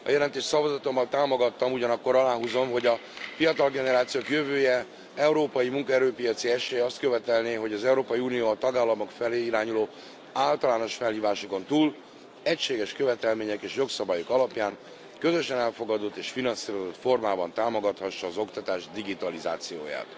A jelentést szavazatommal támogattam, ugyanakkor aláhúzom, hogy a fiatal generációk jövője, európai munkaerőpiaci esélye azt követelné, hogy az Európai Unió a tagállamok felé irányuló általános felhívásokon túl, egységes követelmények és jogszabályok alapján, közösen elfogadott és finanszírozott formában támogathassa az oktatás digitalizációját.